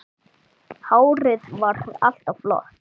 Hárið var alltaf flott.